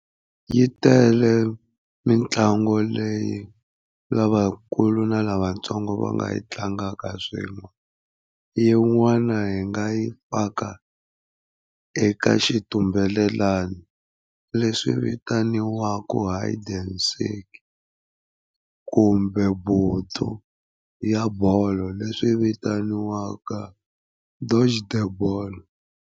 Yi tele mitlangu leyi lavakulu na lavatsongo va nga yi tlangaka swin'we. Yin'wana hi nga yi paka eka xitumbelelani leswi vitaniwaka hide and seek, kumbe vuthu ya bolo leswi vitaniwaka dodge the ball.